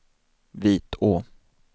Vitå